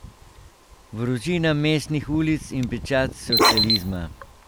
Vročina mestnih ulic in pečat socializma.